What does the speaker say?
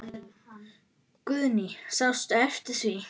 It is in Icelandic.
Guðný: Sástu eftir því?